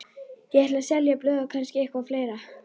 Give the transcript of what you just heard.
Ég ætla að selja blöð og kannski eitthvað fleira.